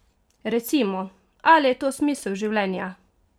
Recimo, ali je to smisel življenja?